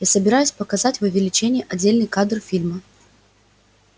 я собираюсь показать в увеличении отдельный кадр фильма